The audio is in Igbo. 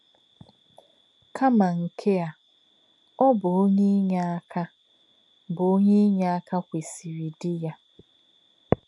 Kà̄mà̄ nké̄ ā̄, ọ́ bụ́ ọ̀nyé̄ ínyéá̄kà̄ bụ́ ọ̀nyé̄ ínyéá̄kà̄ kwèsị̀rị̀ dí̄ yá̄.